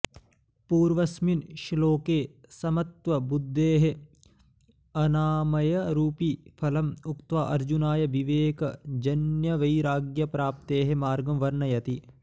पूर्वस्मिन् श्लोके समत्वबुद्धेः अनामयरूपि फलम् उक्त्वा अर्जुनाय विवेकजन्यवैराग्यप्राप्तेः मार्गं वर्णयति